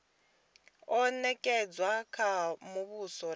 o nekedzwa kha muvhuso na